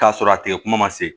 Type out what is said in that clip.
K'a sɔrɔ a tigi kuma ma se